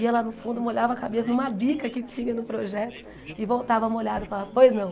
Ia lá no fundo, molhava a cabeça numa bica que tinha no projeto e voltava molhada e falava, pois não.